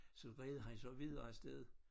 Så red han så videre afsted